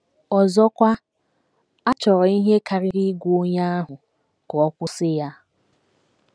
Ọzọkwa, a chọrọ ihe karịrị ịgwa onye ahụ ka ọ kwụsị ya.